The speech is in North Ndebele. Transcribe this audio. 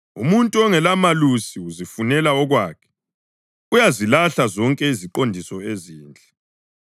Umuntu ongelamusa uzifunela okwakhe; uyazilahla zonke iziqondiso ezinhle.